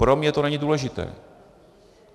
Pro mě to není důležité.